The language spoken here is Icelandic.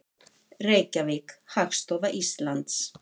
Reykjavík, Hagstofa Íslands.